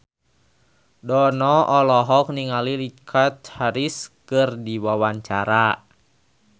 Dono olohok ningali Richard Harris keur diwawancara